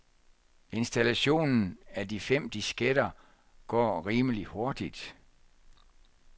Installationen af de fem disketter går rimelig hurtigt.